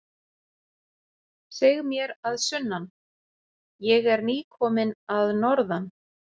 Seg mér að sunnan, ég er nýkominn að norðan.